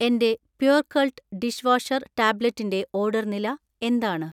എന്‍റെ Purecult dish washer ടാബ്ലറ്റിന്‍റെ order നില എന്താണ്?